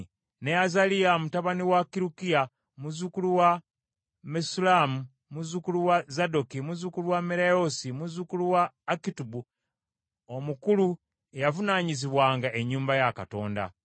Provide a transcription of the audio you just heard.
ne Azaliya mutabani wa Kirukiya, muzzukulu wa Mesullamu, muzzukulu wa Zadooki, muzzukulu wa Merayoosi, muzzukulu wa Akituubu, omukulu eyavunaanyizibwanga ennyumba ya Katonda;